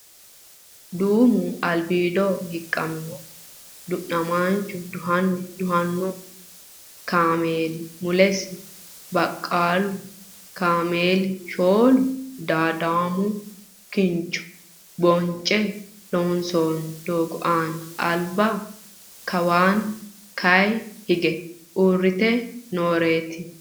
Duumu albiido hiiqqamino du'namaancho duhano duhanno kaameeli mulesi baqqalu kaameeli shooli midaadaamo kincho bonce loonsoonni doogo aana alba kawanna ka'a higge uurrite nooreeti.